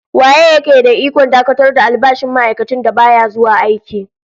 Waye ya ke da ikon dakatar da albashin ma'aikacin da baya zuwa aiki?